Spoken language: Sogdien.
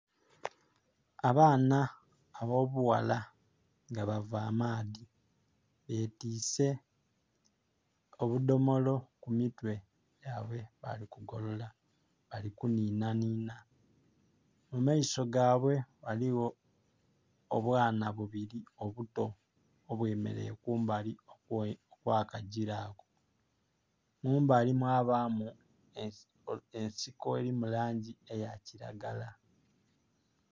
Abaana abo bughala nga bava maadhi betise obudomolo ku mitwe gyaibwe ...bali kuninanina. Mu maiso gaibwe ghaliyo obwana bubiri obuto obwemereire kumbali kwa kajira. Mumbali mwa bamu ensolo erimu langi eya kiragala